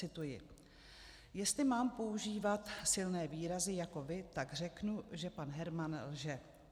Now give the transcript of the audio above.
Cituji: Jestli mám používat silné výrazy jako vy, tak řeknu, že pan Herman lže.